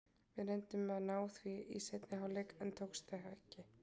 Við reyndum að ná því í seinni hálfleik en það tókst ekki.